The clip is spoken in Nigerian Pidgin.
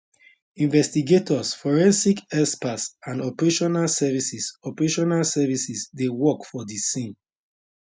investigators forensic experts and operational services operational services dey work for di scene